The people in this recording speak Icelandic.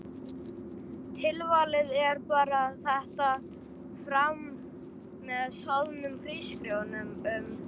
Tilvalið er að bera þetta fram með soðnum hrísgrjón um.